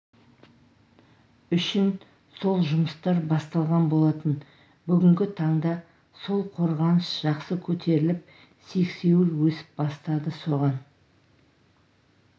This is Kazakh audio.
үшін сол жұмыстар басталған болатын бүгінгі таңда сол қорғаныш жақсы көтеріліп сексеуіл өсіп бастады соған